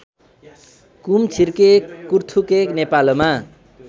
कुमछिर्के कुथुर्के नेपालमा